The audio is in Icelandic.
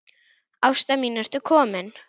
Ásta mín ertu komin?